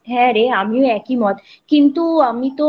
হ্যাঁ রে আমারও একইমত